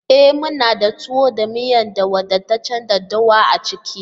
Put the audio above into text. E! muna da tuwo da miyan da wadataccen daɗɗawa a ciki.